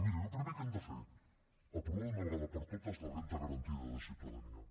miri el primer que hem de fer aprovar d’una vegada per totes la renda garantida de ciutadania